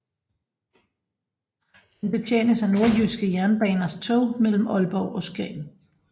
Den betjenes af Nordjyske Jernbaners tog mellem Aalborg og Skagen